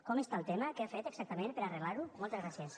com està el tema què ha fet exactament per arreglar ho moltes gràcies